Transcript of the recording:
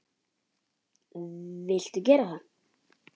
Viltu gera það?